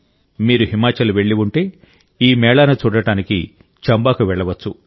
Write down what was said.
మీరు హిమాచల్ వెళ్లి ఉంటే ఈ మేళాను చూడటానికి చంబాకు వెళ్లవచ్చు